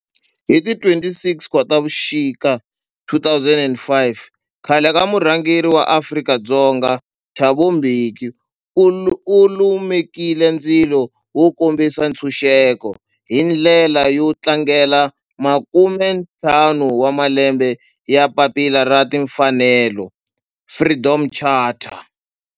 Hi ti 26 Khotavuxika 2005 khale ka murhangeri wa Afrika-Dzonga Thabo Mbeki u lumekile ndzilo wo kombisa ntshuxeko, hi ndlela yo tlangela makume ntlhanu wa malembe ya papila ra timfanelo, Freedom Charter.